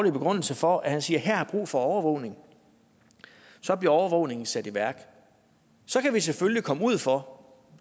begrundelse for at sige at her er brug for overvågning så bliver overvågningen sat i værk så kan vi selvfølgelig komme ud for